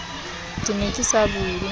ke ne ke sa bula